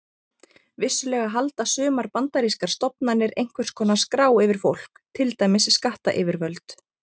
Vissulega halda sumar bandarískar stofnanir einhvers konar skrá yfir fólk, til dæmis skattayfirvöld.